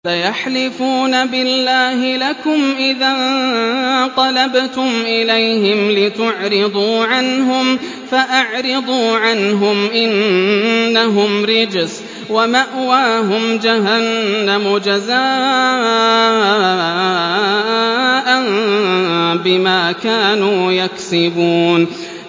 سَيَحْلِفُونَ بِاللَّهِ لَكُمْ إِذَا انقَلَبْتُمْ إِلَيْهِمْ لِتُعْرِضُوا عَنْهُمْ ۖ فَأَعْرِضُوا عَنْهُمْ ۖ إِنَّهُمْ رِجْسٌ ۖ وَمَأْوَاهُمْ جَهَنَّمُ جَزَاءً بِمَا كَانُوا يَكْسِبُونَ